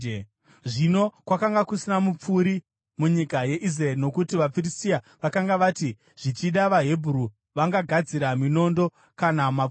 Zvino kwakanga kusina mupfuri munyika yeIsraeri nokuti vaFiristia vakanga vati, “Zvichida vaHebheru vangagadzira minondo kana mapfumo!”